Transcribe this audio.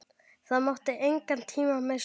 Það mátti engan tíma missa.